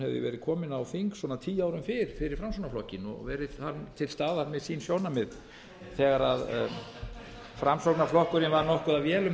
leið komin á þing svona tíu árum fyrr fyrir framsóknarflokkinn og verið þar til staðar með sín sjónarmið þegar framsóknarflokkurinn var nokkuð að véla um